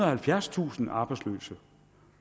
og halvfjerdstusind arbejdsløse